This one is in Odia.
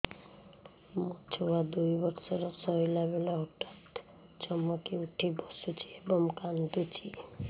ମୋ ଛୁଆ ଦୁଇ ବର୍ଷର ଶୋଇଲା ବେଳେ ହଠାତ୍ ଚମକି ଉଠି ବସୁଛି ଏବଂ କାଂଦୁଛି